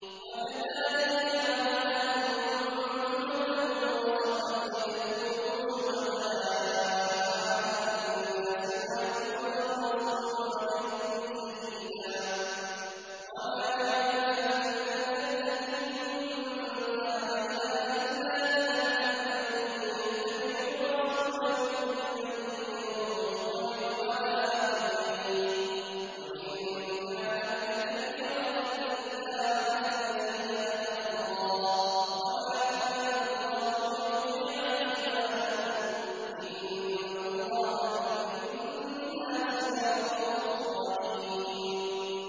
وَكَذَٰلِكَ جَعَلْنَاكُمْ أُمَّةً وَسَطًا لِّتَكُونُوا شُهَدَاءَ عَلَى النَّاسِ وَيَكُونَ الرَّسُولُ عَلَيْكُمْ شَهِيدًا ۗ وَمَا جَعَلْنَا الْقِبْلَةَ الَّتِي كُنتَ عَلَيْهَا إِلَّا لِنَعْلَمَ مَن يَتَّبِعُ الرَّسُولَ مِمَّن يَنقَلِبُ عَلَىٰ عَقِبَيْهِ ۚ وَإِن كَانَتْ لَكَبِيرَةً إِلَّا عَلَى الَّذِينَ هَدَى اللَّهُ ۗ وَمَا كَانَ اللَّهُ لِيُضِيعَ إِيمَانَكُمْ ۚ إِنَّ اللَّهَ بِالنَّاسِ لَرَءُوفٌ رَّحِيمٌ